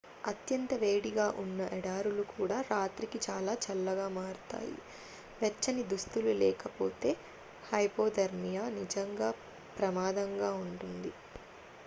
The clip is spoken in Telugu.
అత్యంత వేడిగా ఉన్న ఎడారులు కూడా రాత్రికి చాలా చల్లగా మారుతాయి వెచ్చని దుస్తులు లేకపోతే హైపోథెర్మియా నిజంగా ప్రమాదంగా ఉంటుంది